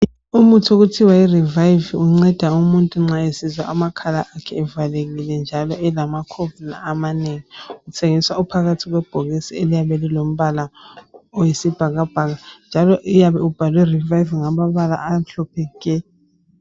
Umuthi okuthiwa yiRevive, unceda umuntu nxa esizwa amakhala akhe evalekile, njalo elamakhovula amanengi. Uthengiswa uphakathi kwebhokisi, eliyabe lilombala oyisibhakabhaka njalo uyabe ubhalwe, Revive, ngamabala amhlophe nke!